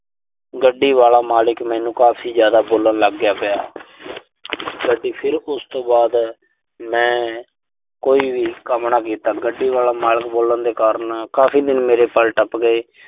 ਗੱਡੀ ਵਾਲਾ ਮਾਲਕ ਮੈਨੂੰ ਕਾਫ਼ੀ ਜ਼ਿਆਦਾ ਬੋਲਣ ਲਾਗਿਆ। ਅਤੇ ਫਿਰ ਉਸ ਤੋਂ ਬਾਅਦ ਮੈਂ ਕੋਈ ਵੀ ਕੰਮ ਨਾ ਕੀਤਾ। ਗੱਡੀ ਵਾਲਾ ਮਾਲਕ ਬੋਲਣ ਦੇ ਕਾਰਨ ਕਾਫ਼ੀ ਮੈਨੂੰ ਮੇਰੇ ਸਾਲ ਟੱਪ ਗਏ।